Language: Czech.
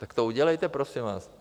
Tak to udělejte prosím vás.